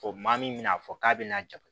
Fɔ maa min bɛn'a fɔ k'a bɛna ja